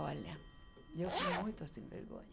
Olha, eu fui muito sem vergonha.